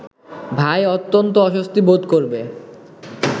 ভাই অত্যন্ত অস্বস্তি বোধ করবে